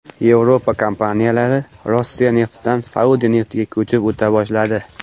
Yevropa kompaniyalari Rossiya neftidan Saudiya neftiga ko‘chib o‘ta boshladi.